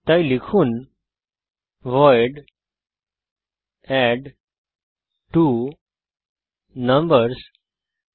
তাই লিখুন ভয়েড অ্যাডট্বোনাম্বারসহ